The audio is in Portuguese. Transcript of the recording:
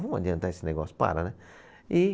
Vamos adiantar esse negócio, para, né? E